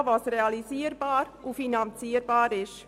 Sie wissen aber auch, was realisier- und finanzierbar ist!